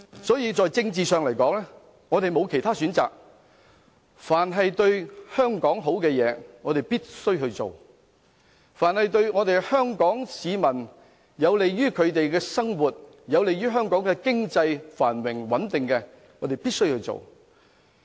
所以，在政治上來說，我們沒有其他選擇，凡對香港好的東西，我們必須做；凡有利於香港市民生活、經濟繁榮穩定的工作，我們必須做。